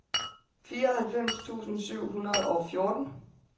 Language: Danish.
fireoghalvfems tusind syv hundrede og fjorten